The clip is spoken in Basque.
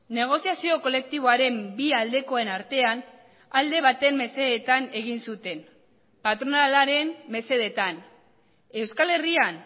negoziazio kolektiboaren bi aldekoen artean alde baten mesedetan egin zuten patronalaren mesedetan euskal herrian